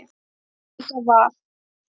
Það er líka val.